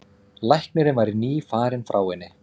Læknirinn væri nýfarinn frá henni.